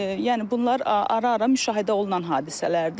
Yəni bunlar ara-ara müşahidə olunan hadisələrdir.